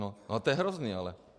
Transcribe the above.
No, to je hrozný ale.